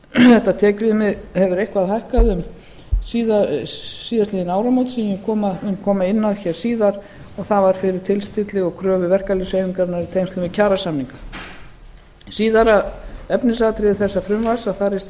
þetta tekjum hefur eitthvað hækkað um síðastliðin áramót sem ég mun koma inn á hér síðar en það var fyrir tilstilli og kröfur verkalýðshreyfingarinnar í tengslum við kjarasamninga í síðara efnisatriði þessa frumvarps er